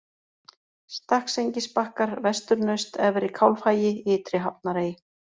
Stakksengisbakkar, Vesturnaust, Efri-Kálfhagi, Innri-Hafnarey